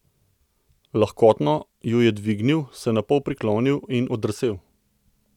Lahkotno ju je dvignil, se napol priklonil in oddrsel.